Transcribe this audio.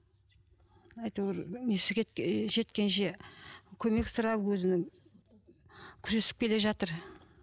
әйтеуір несі жеткенше көмек сұрап өзінің күресіп келе жатыр